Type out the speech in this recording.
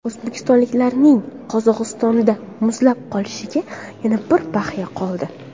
O‘zbekistonliklarning Qozog‘istonda muzlab qolishiga yana bir bahya qoldi .